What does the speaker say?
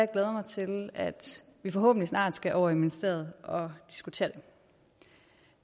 glæder mig til at vi forhåbentlig snart skal over i ministeriet og diskutere det